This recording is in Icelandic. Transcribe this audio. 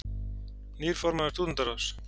Nýr formaður Stúdentaráðs